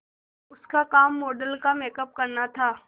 उसका काम मॉडल का मेकअप करना था